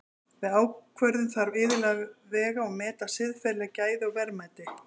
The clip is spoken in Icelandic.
Við ákvörðun þarf iðulega að vega og meta siðferðileg gæði og verðmæti.